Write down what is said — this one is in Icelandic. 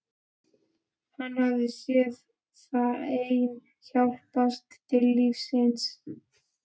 Hann hafði séð þeim hjálpað til lífsins.